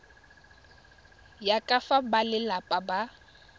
ya ka fa balelapa ba